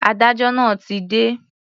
Adájọ́ náà ti dé.